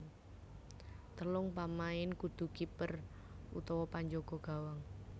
Telung pamain kudu kiper utawa panjaga gawang